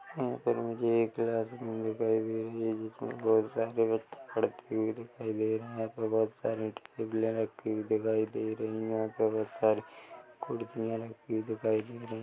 '' यहाँ पर मुझे एक क्लास रूम दिखाई दे रही है जिसमे बोहोत सारे बच्चे पढ़ते हुए दिखाई दे रहे है यहाँ पर बहुत सारे टेबले रखी हुए दिखाई दे रही है यहाँ'''' पर बहुत सारी कुर्सियां रखी हुई दिखाई दे रही-- ''